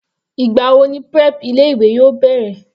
Ìgbà wo ni prep ilé ìwé yóò bẹ̀rẹ̀?